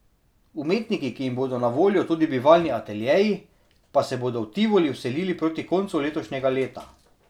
Umetniki, ki jim bodo na voljo tudi bivalni ateljeji, pa se bodo v Tivoli vselili proti koncu letošnjega leta.